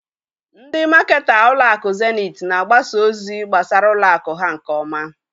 Ndị maketa ụlọakụ zenit na-agbasa ozi gbasara ụlọakụ ha nke ọma.